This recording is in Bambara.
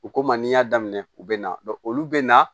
U ko ma n'i y'a daminɛ u bɛ na olu bɛ na